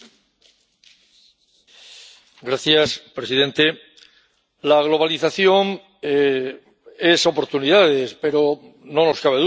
Señor presidente, la globalización trae oportunidades pero, no nos cabe duda, también comporta retos.